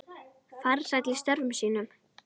Farsæll í störfum sínum.